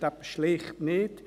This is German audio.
Das stimmt schlicht nicht.